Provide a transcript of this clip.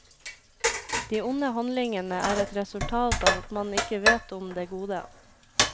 De onde handlingene er et resultat av at man ikke vet om det gode.